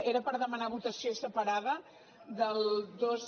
era per demanar votació separada del dos